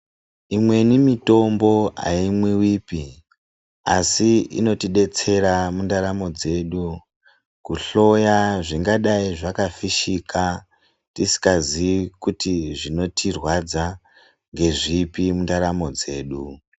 Imweni mitombo haimwivipi asi inotibetsera mundaramo dzedu. Kuhloya zvingadai zvakafishika tisikaziyi kuti zvinotirwadza ngezvipi mundaramo dzedu.